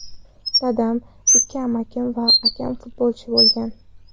Dadam, ikki amakim va akam futbolchi bo‘lgan.